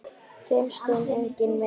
Finnst hún engin vera.